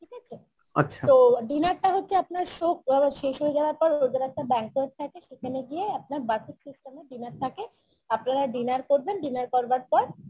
ঠিক আছে তো dinner টা হচ্ছে আপনার show শেষ হয়ে যাওয়ার পর ওদের একটা banquet থাকে সেখানে গিয় আপনার buffet system এর dinner থাকে আপনারা dinner করবেন dinner করবার পর